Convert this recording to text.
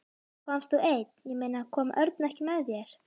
Komst þú einn, ég meina, kom Örn ekki með þér?